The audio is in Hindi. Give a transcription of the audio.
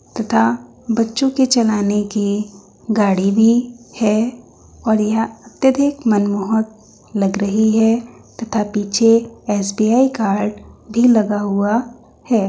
तथा बच्चों के चलाने की गाड़ी भी है और यह अत्यधिक मनमोहक लग रही है तथा पीछे एस.बी.आई. कार्ड भी लगा हुआ है।